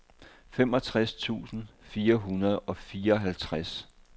femogtres tusind fire hundrede og fireoghalvtreds